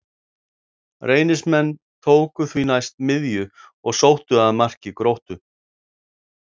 Reynismenn tóku því næst miðju og sóttu að marki Gróttu.